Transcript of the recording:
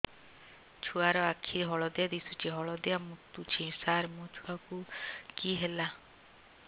ଛୁଆ ର ଆଖି ହଳଦିଆ ଦିଶୁଛି ହଳଦିଆ ମୁତୁଛି ସାର ମୋ ଛୁଆକୁ କି ହେଲା